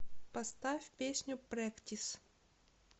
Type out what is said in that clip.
поставь песню прэктис